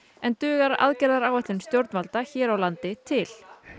en dugar aðgerðaráætlun stjórnvalda hér á landi til